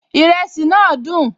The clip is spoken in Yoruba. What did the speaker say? Ìrẹsì náà dùn